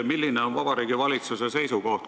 Milline on Vabariigi Valitsuse seisukoht?